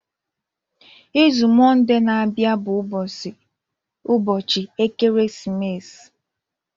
Izu Mọnde na-abịa bụ ụbọchị ekeresimesi.